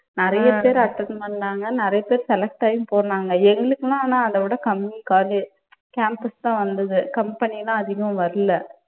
நிறைய பேர் attend பண்ணாங்க, நிறைய பேர் select ஆயும் போனாங்க. எங்களுக்குனா ஆனா அதைவிடக் கம்மி college campus தான் வந்தது company எல்லாம் அதிகம் வரலை.